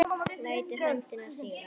Lætur höndina síga.